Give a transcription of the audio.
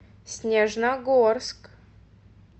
снежногорск